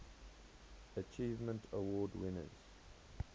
achievement award winners